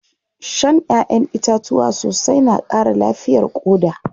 Shan ƴaʼƴen itatuwa sosai na ƙara lafiyar ƙoda.